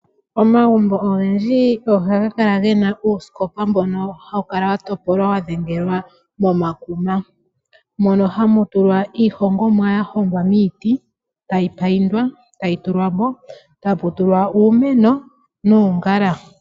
Omagumbo ogendji ohaga kala ge na uusikopa mboka hau kala wa topolwa wa dhengelwa momakuma. Ohamu tulwa iihongomwa ya hongwa momiti ya paindwa. Ohamu tulwa wo iimeno noongala.